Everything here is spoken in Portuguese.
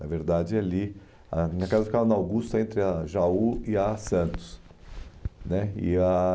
Na verdade ali, a minha casa ficava na Augusta, entre a Jaú e a Santos né e a